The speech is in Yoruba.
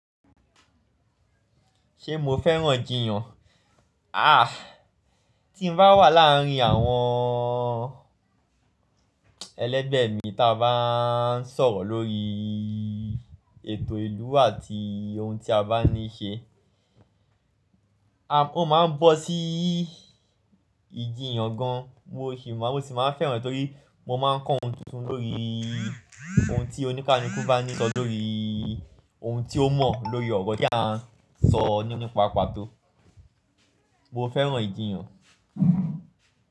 Ṣé mo fẹ́ràn ìjiyàn? Ah, tí mo bá wà láàárín àwọn ẹlẹ́gbẹ̀ẹ́ mi tí a bá ń sọ̀rọ̀ lórí ètò ìlú àti ohun tí a bá ní ṣe, o máa ń bọ́ sí ìjiyàn gan. Mo sì máa ń fẹ́ràn ẹ torí mo máa ń kọ́ ohun tuntun lórí ohun tí oníkànikú bá ní sọ lórí ohun tí ó mọ̀ lórí ọ̀rọ̀ tí à ń sọ nípa pato. Mo fẹ́ràn ìjiyàn.